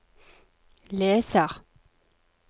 leser